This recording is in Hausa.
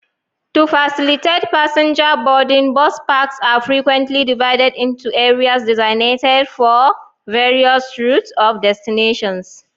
To facilitate passenger boarding, bus parks are frequently divided into areas designated for various routes or destinations.